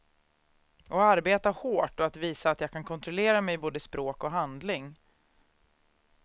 Att arbeta hårt och att visa att jag kan kontrollera mig både i språk och handling.